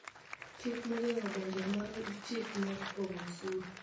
Chik ma ogeng�o donjo mar chik mar pogo osuru